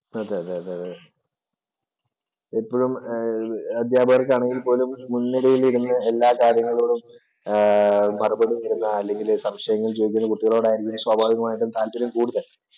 അതെ അതെ എപ്പഴും ആഹ് അധ്യാപകര്‍ക്കാണെങ്കില്‍ പോലും മുന്‍നിരയില്‍ ഇരിക്കുന്ന എല്ലാ കാര്യങ്ങളോടും മറുപടി തരുന്ന അല്ലെങ്കില്‍ സംശയങ്ങള്‍ ചോദിക്കുന്ന കുട്ടികളോട് ആയിരിക്കും സ്വാഭാവികമായിട്ടും താല്പര്യം കൂടുതല്‍.